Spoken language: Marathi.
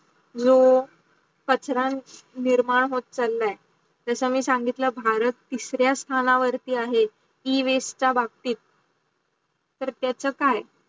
कचरांच निर्माण होत चालाय जस मी सांगितलं भारत तीसऱ्या स्टाणावरती आहेत e-waste चा बाबतीत तर त्याच काय?